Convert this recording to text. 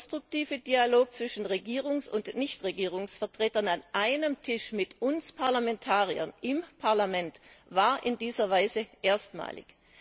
Der konstruktive Dialog zwischen Regierungs und Nichtregierungsvertretern an einem Tisch mit uns Parlamentariern im Parlament war in dieser Weise erstmalig.